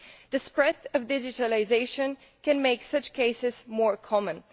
The spread of digitalisation can make such cases more common.